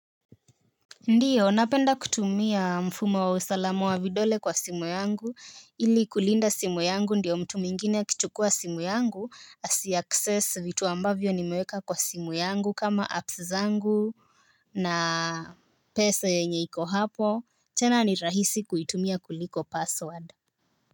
Ndiyo, napenda kutumia mfumo wa usalamu wa vidole kwa simu yangu ili kulinda simu yangu ndiyo mtu mwingine akichukua simu yangu asi access vitu ambavyo nimeweka kwa simu yangu kama apps zangu na pesa yenye iko hapo. Tena ni rahisi kuitumia kuliko password.